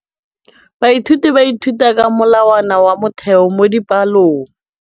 Baithuti ba ithuta ka molawana wa motheo mo dipalong.